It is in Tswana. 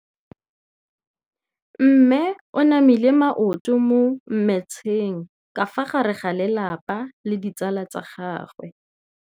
Mme o namile maoto mo mmetseng ka fa gare ga lelapa le ditsala tsa gagwe.